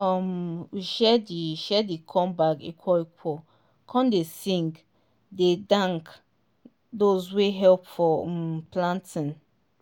um we share di share di corn bag equal equal come dey sing dey thank those wey help for um planting.